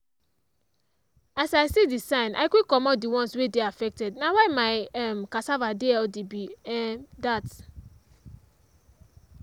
as i see the sign i quick comot the ones wey dey affected na why my um cassava dey healthy be um dat.